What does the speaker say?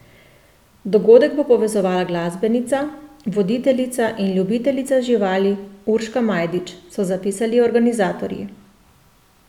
Dogodek bo povezovala glasbenica, voditeljica in ljubiteljica živali Urška Majdič, so zapisali organizatorji.